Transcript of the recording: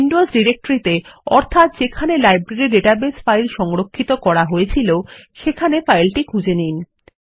Windows directory ত়ে অর্থাৎ যেখানে লাইব্রেরী ডাটাবেস ফাইল সংরক্ষিত করা হয়েছিল সেখানে ফাইলটি খুঁজে নিন